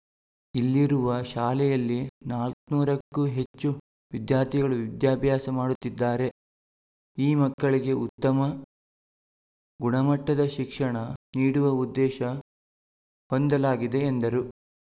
ಇಲ್ಲಿರುವ ಶಾಲೆಯಲ್ಲಿ ನಾಲ್ಕುನೂರಕ್ಕೂ ಹೆಚ್ಚು ವಿದ್ಯಾರ್ಥಿಗಳು ವಿದ್ಯಾಭ್ಯಾಸ ಮಾಡುತ್ತಿದ್ದಾರೆ ಈ ಮಕ್ಕಳಿಗೆ ಉತ್ತಮ ಗುಣಮಟ್ಟದ ಶಿಕ್ಷಣ ನೀಡುವ ಉದ್ದೇಶ ಹೊಂದಲಾಗಿದೆ ಎಂದರು